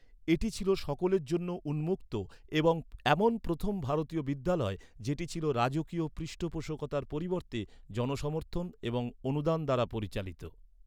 এটি ছিল সকলের জন্য উন্মুক্ত এবং এমন প্রথম ভারতীয় বিদ্যালয় যেটি ছিল রাজকীয় পৃষ্ঠপোষকতার পরিবর্তে জনসমর্থন এবং অনুদান দ্বারা পরিচালিত।